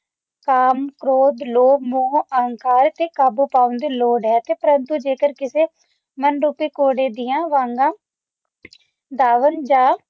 ਕਾਮ ਕ੍ਰੋਧ ਲੋਭ ਮੋਹ ਅਹੰਕਾਰ ਤੇ ਕਾਬੂ ਪਾਉਣ ਦੀ ਲੋੜ ਹੈ ਪਰੰਤੂ ਜੇਕਰ ਕਿਸੇ ਮਨ ਉਤੇ ਘੋੜੇ ਦੀਆਂ ਵਾਗਾਂ ਦਾਵਣ ਜਾ